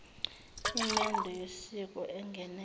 imendo yosiko engenelwe